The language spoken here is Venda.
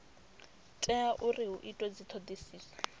tea uri hu itwe dzithodisiso